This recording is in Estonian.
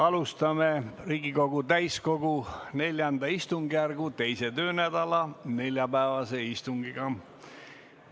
Alustame Riigikogu täiskogu IV istungjärgu teise töönädala neljapäevast istungit.